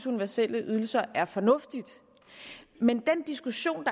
universelle ydelser er fornuftige men den diskussion